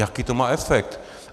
Jaký to má efekt?